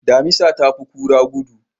Damisa ta fi kura gudu.